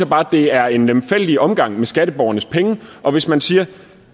bare det er en lemfældig omgang med skatteborgernes penge og hvis man siger at